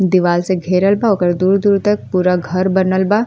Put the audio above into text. दीवाल से घिरल बा ओकर दूर-दूर तब पूरा घर बनल बा।